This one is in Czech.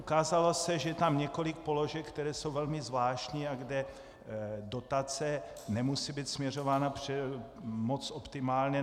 Ukázalo se, že je tam několik položek, které jsou velmi zvláštní a kde dotace nemusí být směřována moc optimálně.